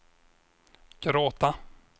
gråta